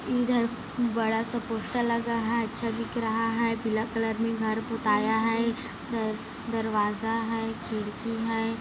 इधर बड़ा -सा पोस्टर लगा है अच्छा दिख रहा है पीला कलर में घर पुताया है अह दरवाज़ा है खिड़की हैं।